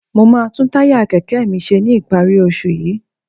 Mo máa tún táyà kẹ̀kẹ́ mi ṣe ní ìparí oṣù yìí